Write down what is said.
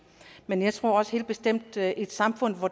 men jeg tror også helt bestemt at i et samfund hvor